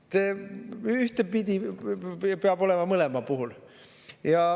See peab olema ühtepidi mõlema puhul.